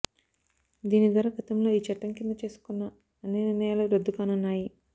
దీని ద్వారా గతంలో ఈ చట్టం కింద చేసుకున్న అన్ని నిర్ణయాలు రద్దు కానున్నాయి